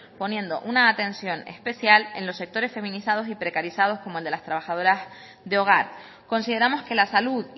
poniendo una atención especial en los sectores feminizados y precarizados como el de las trabajadoras de hogar consideramos que la salud